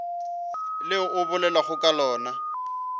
le o bolelago ka lona